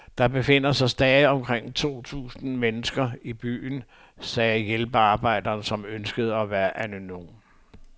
Der befinder sig stadig omkring to tusind mennesker i byen, sagde hjælpearbejderen, som ønskede at være anonym.